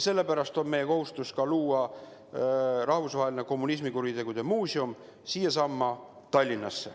Sellepärast on meie kohustus ka asutada siinsamas Tallinnas rahvusvaheline kommunismi kuritegude muuseum.